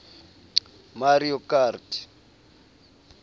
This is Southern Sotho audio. mario kart